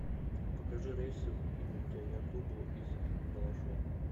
покажи рейсы в индаятубу из балашова